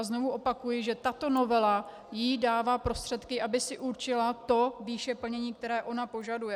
A znovu opakuji, že tato novela jí dává prostředky, aby si určila tu výši plnění, kterou ona požaduje.